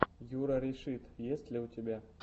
юрарешит есть ли у тебя